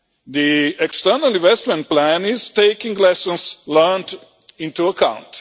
The external investment plan is taking lessons learned into account.